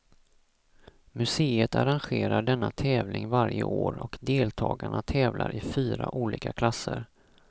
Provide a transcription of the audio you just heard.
Museet arrangerar denna tävling varje år, och deltagarna tävlar i fyra olika klasser.